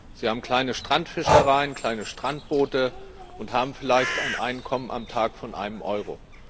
Sie haben kleine Strandfischereien, kleine Strandboote und haben vielleicht ein Einkommen am Tag von einem Euro.